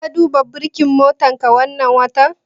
Ka duba burkin motarka wannan watan?